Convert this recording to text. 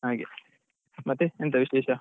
ಹಾಗೆ ಮತ್ತೆ ಎಂತ ವಿಶೇಷ?